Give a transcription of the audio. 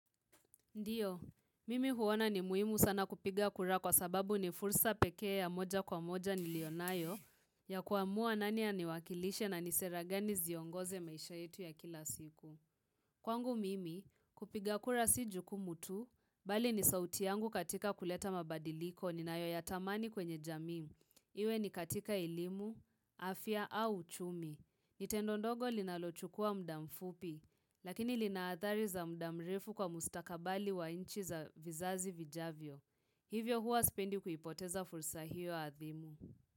Ndiyo, mimi huona ni muhimu sana kupiga kura kwa sababu ni fursa peke ya moja kwa moja niliyonayo ya kuamua nani aniwakilishe na nisera gani ziongoze maisha yetu ya kila siku. Kwangu mimi, kupiga kura si jukumu tu, bali ni sauti yangu katika kuleta mabadiliko ninayo ya tamani kwenye jamii. Iwe ni katika elimu, afya au uchumi. Ni tendo ndogo linalochukua mda mfupi, lakini linaathari za mda mrefu kwa mustakabali wa inchi za vizazi vijavyo. Hivyo huwa spendi kuipoteza fursa hiyo adhimu.